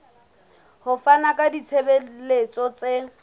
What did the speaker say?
ho fana ka ditshebeletso tse